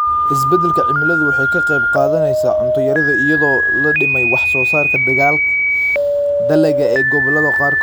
Isbeddelka cimiladu waxay ka qayb qaadanaysaa cunto yarida iyadoo la dhimay wax-soo-saarka dalagga ee gobollada qaarkood.